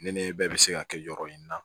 Ne nɛnɛ bɛɛ bɛ se ka kɛ yɔrɔ in na